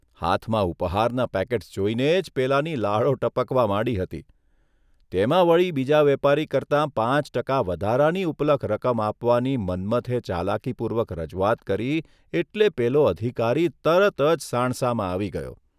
હાથમાં ઉપહારનાં પેકેટ્સ જોઇને જ પેલાની લાળો ટપકવા માંડી હતી, તેમાં વળી બીજા વેપારી કરતાં પાંચ ટકા વધારાની ઉપલક રકમ આપવાની મન્મથે ચાલાકીપૂર્વક રજૂઆત કરી એટલે પેલો અધિકારી તરત જ સાણસામાં આવી ગયો.